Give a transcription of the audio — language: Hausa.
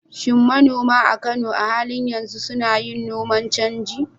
Shin manoma a Kano a halin yanzu suna yin noman canji?